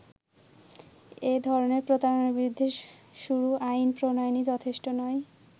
এধরনের প্রতারনার বিরুদ্ধে শুরু আইন প্রনয়নই যথেষ্ট নয়।